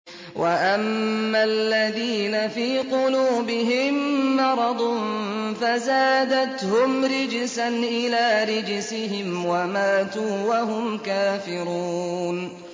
وَأَمَّا الَّذِينَ فِي قُلُوبِهِم مَّرَضٌ فَزَادَتْهُمْ رِجْسًا إِلَىٰ رِجْسِهِمْ وَمَاتُوا وَهُمْ كَافِرُونَ